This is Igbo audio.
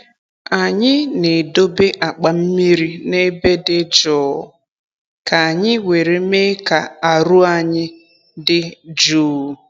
Anyị na-edobe akpa mmiri n’ebe dị jụụ ka anyị were me ka aru ayi di juu